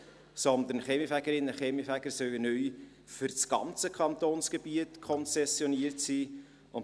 Kaminfegerinnen und Kaminfeger sollen neu für das ganze Kantonsgebiet konzessioniert sein.